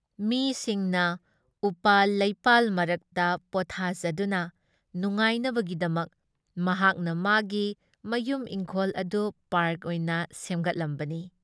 ꯃꯤꯁꯤꯡꯅ ꯎꯄꯥꯜ ꯂꯩꯄꯥꯜ ꯃꯔꯛꯇ ꯄꯣꯠꯊꯥꯖꯗꯨꯅ ꯅꯨꯡꯉꯥꯏꯅꯕꯒꯤꯗꯃꯛ ꯃꯍꯥꯛꯅ ꯃꯥꯒꯤ ꯃꯌꯨꯝ ꯏꯪꯈꯣꯜ ꯑꯗꯨ ꯄꯥꯔꯛ ꯑꯣꯏꯅ ꯁꯦꯝꯒꯠꯂꯝꯕꯅꯤ ꯫